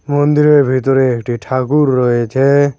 মন্দিরের ভেতরে একটি ঠাকুর রয়েছে।